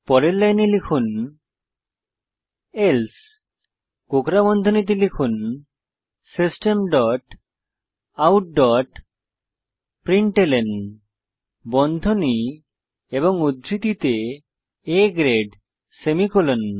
পরের লাইনে লিখুন এলসে কোঁকড়া বন্ধনীতে লিখুন system dot out dot println বন্ধনী এবং উদ্ধৃতিতে A গ্রেড সেমিকোলন